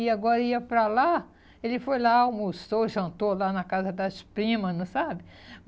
E agora ia para lá, ele foi lá, almoçou, jantou lá na casa das primas, não sabe?